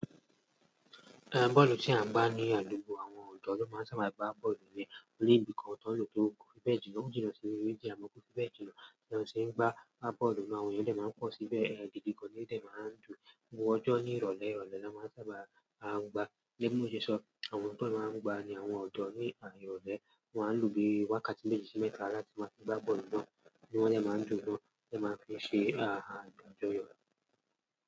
Ehn bọ́ọ̀lù tí à ń gbá ní àdúgbò àwọn ọ̀dọ́ ló máa ń sábà gbá bọ́ọ̀lù yẹn ní ibi kan tán lọ tó kún fẹ́ẹ̀dì ọ̀ọ́jì lọ sí ibi fẹ́ẹ̀dì ọ̀ọ́jì lọ tí wọ́n ṣe ń gbá. Bọ́ọ̀lù náà àwọn èèyàn dẹ̀ máa ń pọ̀ síbẹ̀, ehn gidi gan ní ó dẹ̀ máa ń dùn. Gbogbo ọjọ́ ní ìrọ̀lẹ́ ìrọ̀lẹ́ ló máa ń sábà áń gbá. Gẹ́gẹ́ bí mo ṣe sọ, àwọn tó máa ń gbá ni àwọn ọ̀dọ́ ní àárín ìrọ̀lẹ́. Wọ́n á lò bíi wákàtí méjì sí mẹ́ta láti máa fi gbá bọ́ọ̀lù náà. Wọ́n dè máa ń dùn gan, wọ́n dè máa ń fi ṣe a ajọ́ yọ̀.